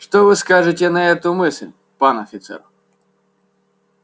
что вы скажете на эту мысль пан офицер